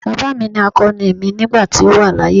Baba mi ni akoni mi nigba to wa laaye.